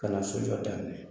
Ka na sojɔ daminɛ